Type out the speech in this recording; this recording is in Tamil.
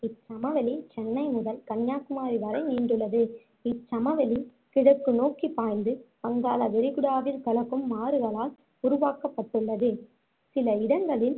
இச்சமவெளி சென்னை முதல் கன்னியாகுமரி வரை நீண்டுள்ளது இச்சமவெளி கிழக்கு நோக்கி பாய்ந்து வங்காள விரிகுடாவில் கலக்கும் ஆறுகளால் உருவாக்கப்பட்டுள்ளது சில இடங்களில்